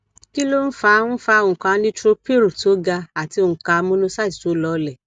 kí ló ń fa ń fa onka neutrophil tó gà àti onka monocyte tó lolẹ